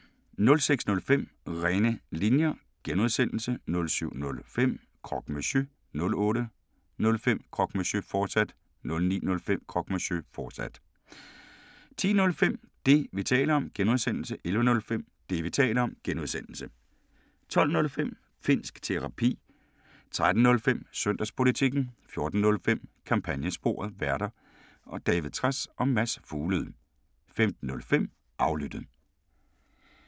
06:05: René Linjer (G) 07:05: Croque Monsieur 08:05: Croque Monsieur, fortsat 09:05: Croque Monsieur, fortsat 10:05: Det, vi taler om (G) 11:05: Det, vi taler om (G) 12:05: Finnsk Terapi 13:05: Søndagspolitikken 14:05: Kampagnesporet: Værter: David Trads og Mads Fuglede 15:05: Aflyttet